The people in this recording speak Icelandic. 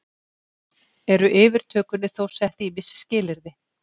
Eru yfirtökunni þó sett ýmis skilyrði